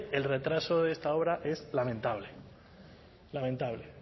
el retraso de esta obra es lamentable lamentable